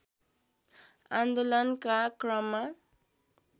आन्दोलनका क्रममा